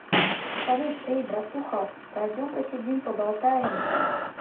салют эй братуха пойдем посидим поболтаем